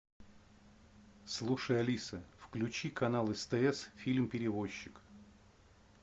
слушай алиса включи канал стс фильм перевозчик